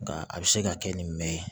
Nka a bɛ se ka kɛ nin mɛn